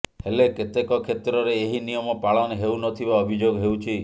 ହେଲେ କେତେକ କ୍ଷେତ୍ରରେ ଏହି ନିୟମ ପାଳନ ହେଉ ନଥିବା ଅଭିଯୋଗ ହେଉଛି